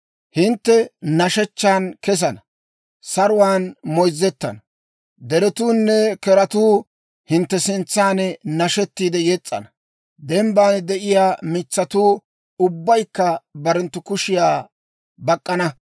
«Hintte nashshechchan kesana; saruwaan moyzzettana. Deretuunne keratuu hintte sintsan nashettiide yes's'ana; dembban de'iyaa mitsatuu ubbaykka barenttu kushiyaa bak'k'ana.